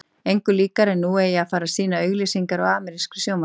Engu líkara en nú eigi að fara að sýna auglýsingar á amerískri sjónvarpsrás.